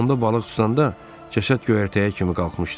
Onda balıq tutanda cəsəd göyərtəyə kimi qalxmışdı.